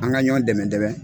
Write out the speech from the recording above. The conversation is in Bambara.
An ka ɲɔ dɛmɛ dɛmɛ.